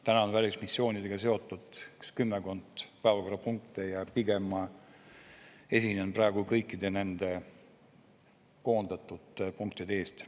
Täna on välismissioonidega seotud kümmekond päevakorrapunkti ja pigem ma esinen praegu kõikide nende koondatud punktide teemal.